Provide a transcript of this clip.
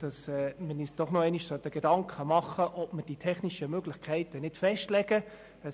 Wir sollten uns Gedanken machen, ob wir die technischen Möglichkeiten nicht doch festlegen wollen.